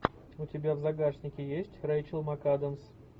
у тебя в загашнике есть рэйчел макадамс